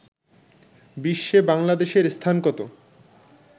বিশ্বে বাংলাদেশের স্থান কত